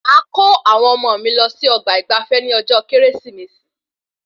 Máa kọ́ àwọn ọmọ mí lọ sí ọgbà ìgbafé ní ọjọ kérésìmesì